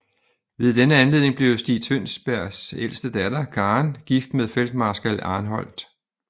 Ved denne anledning blev Stig Tønsbergs ældste datter Karen gift med feltmarskal Arnoldt